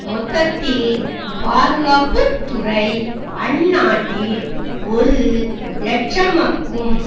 மொத்தத்தில் பாதுகாப்பு துறை அந்நாட்டில் ஒரு இலட்சம்க்கும்